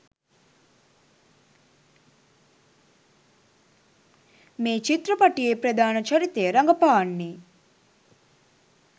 මේ චිත්‍රපටයේ ප්‍රධාන චරිතය රඟපාන්නේ.